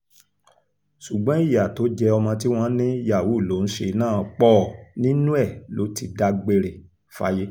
ṣùgbọ́n ìyá tó jẹ́ ọmọ tí wọ́n ní yahoo ló ń ṣe náà pọ̀ nínú ẹ̀ ló ti dágbére fáyé